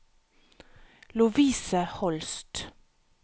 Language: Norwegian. Lovise Holst